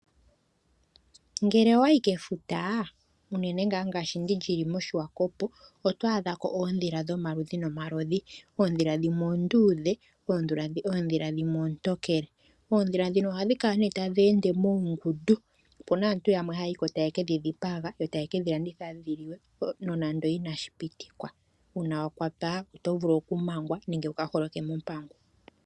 Ngele owayi kefuta unene ngaashi ngah ndilyili moSwakopo otwa adhako odhila dhomaludhi nomaludhi, odhila dhimwe ondudhe, odhila dhimwe ontokele odhila dhino ohadhika neh tadhende monkunkutu opuna aantu yamwe hayiko taye kedhidhipaga yo taye kedhiladitha dhiliwe nonando inashipitikwa una wakwatwa otovulu okumangwa nenge wuka holoke mompangu